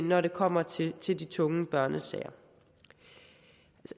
når det kommer til til de tunge børnesager